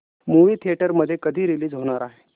movie theatre मध्ये कधी release होणार आहे